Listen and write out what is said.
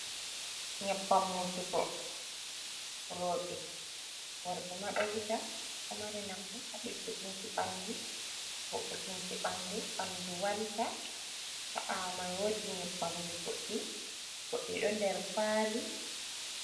Nyebbam wujugo rooɓe, worɓe ma ɗo wuja. Ɗo mari nafu haa ɗiggutunki ɓandu, vo’utunki ɓandu, ɓandu walta. Haa ɓaawo mai woodi nyebbamji goɗɗi, goɗɗi ɗo nder kwali.